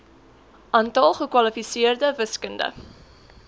aantal gekwalifiseerde wiskunde